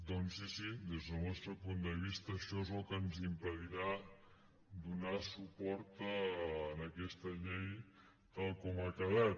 doncs sí sí des del nostre punt de vista això és el que ens impedirà donar suport a aquesta llei tal com ha quedat